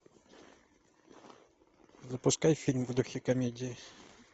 запускай фильм в духе комедии